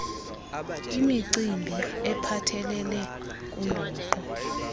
imicimbi ephathelele kundoqo